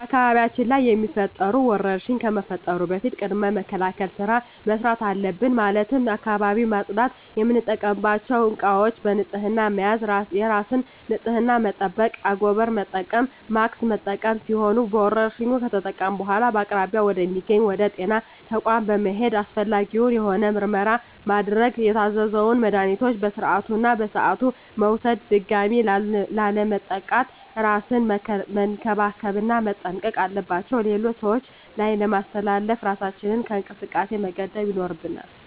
በአካባቢያችን ላይ የሚፈጠሩ ወረርሽኝ ከመፈጠሩ በፊት ቅድመ መከላከል ስራ መስራት አለብን ማለትም አካባቢውን ማፅዳት፣ የምንጠቀምባቸው እቃዎች በንህፅና መያዝ፣ የራስን ንፅህና መጠበቅ፣ አንጎበር መጠቀም፣ ማስክ መጠቀም ሲሆኑ በወረርሽኙ ከተጠቃን በኃላ በአቅራቢያ ወደ ሚገኝ ወደ ጤና ተቋም በመሔድ አስፈላጊውን የሆነ ምርመራ ማድረግ የታዘዘውን መድሀኒቶች በስርዓቱ እና በሰዓቱ መውሰድ ድጋሚ ላለመጠቃት እራስን መንከባከብ እና መጠንቀቅ አለባቸው ሌሎች ሰዎች ላይ ላለማስተላለፍ እራሳችንን ከእንቅስቃሴ መገደብ ይኖርብናል።